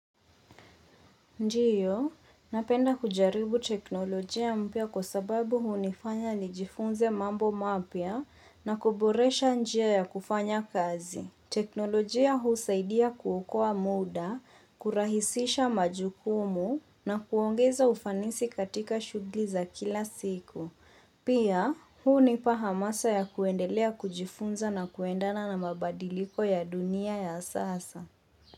Ndiyo, napenda kujaribu teknolojia mpya kwa sababu hunifanya nijifunze mambo mapya na kuboresha njia ya kufanya kazi. Teknolojia huu saidia kuokoa muda, kurahisisha majukumu na kuongeza ufanisi katika shughuli za kila siku. Pia, huunipa hamasa ya kuendelea kujifunza na kuendana na mabadiliko ya dunia ya sasa.